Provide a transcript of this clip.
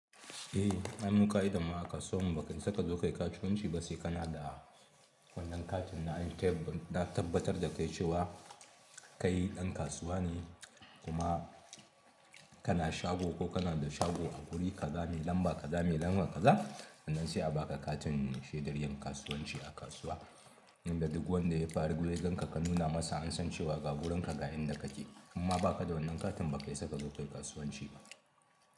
Eh an mu ka'idan mu a kasuwan ba ka isa kazo kayi kasuwanci ba sai kana da wannan katin na yantebil na tabbatar da kai cewa kai dan kasuwa ne kuma kana shago ko kana da shago a guri kaza mai lamba kaza me lamba kaza. Nan sai a baka katin shaidar yin kasuwanci a kasuwa. Inda duk wanda ya fara gurganka ka nuna masa an san cewa ka wurinka ga inda kake. Inma ba ka da wannan katin ba ka isa kazo kayi kasuwanci ba.